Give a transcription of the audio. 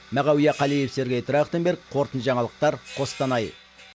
мағауия қалиев сергей трахтенберг қорытынды жаңалықтар қостанай